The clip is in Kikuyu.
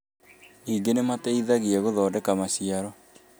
Ningĩ ni mateithagia gũthondeka maciaro